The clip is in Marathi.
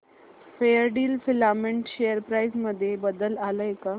फेयरडील फिलामेंट शेअर प्राइस मध्ये बदल आलाय का